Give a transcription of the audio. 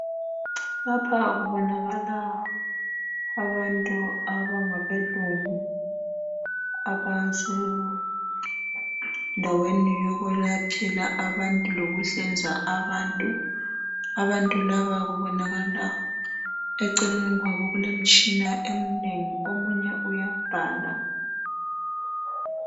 Lapha kubonakala abantu abangabelungu abasendaweni yokwelaphela abantu lokuhlinza abantu. Abantu laba kubonakala eceleni kwabo kulemitshina emnengi omunye uyabhala.